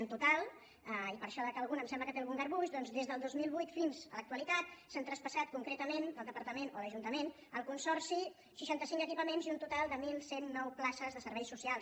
en to·tal i per això dic que algú em sembla que té algun garbuix des del dos mil vuit fins a l’actualitat s’han traspas·sat concretament del departament o l’ajuntament al consorci seixanta cinc equipaments i un total de onze zero nou places de serveis socials